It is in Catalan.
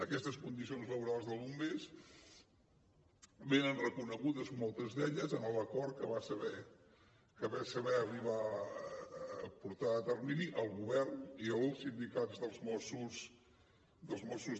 aquestes condicions laborals dels bombers venen reconegudes moltes d’elles en l’acord que van saber arribar a portar a terme el govern i el sindicats dels mossos